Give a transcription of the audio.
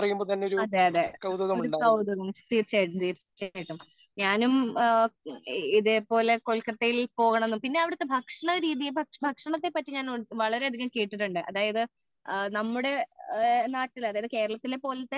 അതേ അതേ ഒരു കൗതുകം തീർച്ചയായിട്ടും ഞാനും ഇതേപോലെ കൊൽക്കത്തയിൽ പോകണം എന്നു പിന്നെ അവിടത്തെ ഭക്ഷണ രീതിയെ പറ്റി ഭക്ഷണത്തെ പറ്റി ഞാൻ ഒരുപാട് കേട്ടിട്ടുണ്ട് അതായത് നമ്മുടെ നാട്ടിലെ അതായത് കേരളത്തിലെ പോലെ